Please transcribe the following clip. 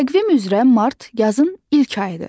Təqvim üzrə mart yazın ilk ayıdır.